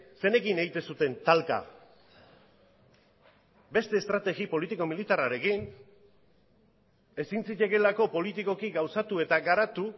zeinekin egiten zuten talka beste estrategi politiko militarrarekin ezin zitekeelako politikoki gauzatu eta garatu